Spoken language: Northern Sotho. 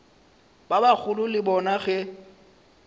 ba bagolo le bona ge